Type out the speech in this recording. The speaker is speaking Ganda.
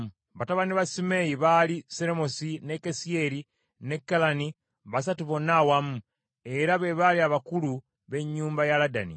Batabani ba Simeeyi baali Seromisi, ne Kasiyeri, ne Kalani, basatu bonna awamu, era be baali abakulu b’ennyumba ya Ladani.